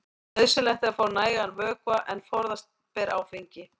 Nauðsynlegt er að fá nægan vökva en forðast ber áfengi.